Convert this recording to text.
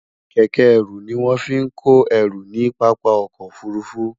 kéké eru ni won fi ko eru ni papa ọkọ ofurufu